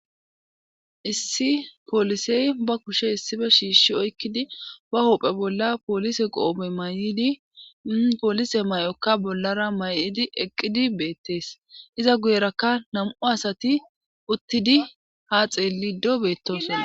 issi poolisey ba kushe issife shiishi oykkidi ba hoopphe bolla poolise qoobe may7idi poolise may7okka bollara may7idi eqqidi beettees iza guyerakka nam7u asati uttidi ha xeelido beettoso